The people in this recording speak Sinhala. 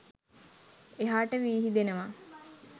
එහාට විහිදෙනවා.